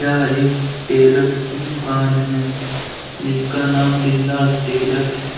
यह एक टेलर्स की दुकान है जिसका नाम बिंदास टेलर्स है।